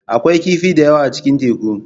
Akwai kifi da yawa a cikin teku.